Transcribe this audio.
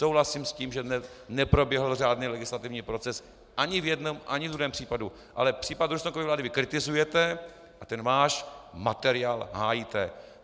Souhlasím s tím, že neproběhl řádný legislativní proces ani v jednom, ani ve druhém případu, ale případ Rusnokovy vlády vy kritizujete a ten svůj materiál hájíte.